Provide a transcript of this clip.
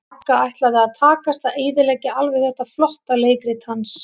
Magga ætlaði að takast að eyðileggja alveg þetta flotta leikrit hans.